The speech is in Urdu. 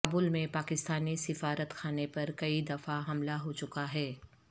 کابل میں پاکستانی سفارت خانے پر کئی دفعہ حملہ ہو چکا ہے